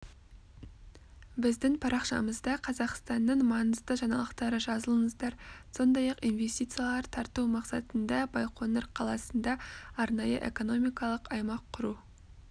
біздің парақшамызда қазақстанның маңызды жаңалықтары жазылыңыздар сондай-ақ инвестициялар тарту мақсатында байқоңыр қаласында арнайы экономикалық аймақ құру